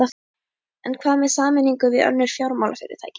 En hvað með sameiningu við önnur fjármálafyrirtæki?